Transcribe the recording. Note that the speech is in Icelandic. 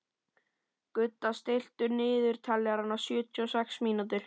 Gudda, stilltu niðurteljara á sjötíu og sex mínútur.